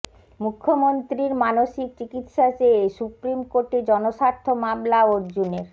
মুখ্যমন্ত্রীর মানসিক চিকিৎসা চেয়ে সুপ্রিম কোর্টে জনস্বার্থ মামলা অর্জুনের